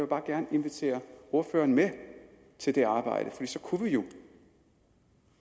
bare gerne invitere ordføreren med til det arbejde for så kunne vi